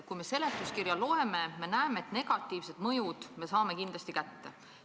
Kui me seletuskirja loeme, siis näeme, et negatiivse mõju me saame kindlasti kätte.